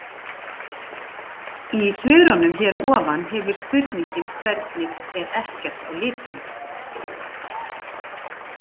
Í svörunum hér að ofan hefur spurningin hvernig er ekkert á litinn?